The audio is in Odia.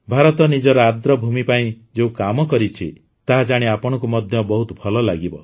ଭାରତ ନିଜର ଆର୍ଦ୍ରଭୂମି ପାଇଁ ଯେଉଁ କାମ କରିଛି ତାହା ଜାଣି ଆପଣଙ୍କୁ ମଧ୍ୟ ବହୁତ ଭଳ ଲାଗିବ